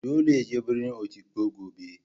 Dolle ya je birnin Otukpo gobe.